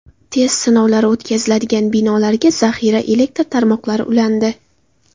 Test sinovlari o‘tkaziladigan binolarga zaxira elektr tarmoqlari ulandi.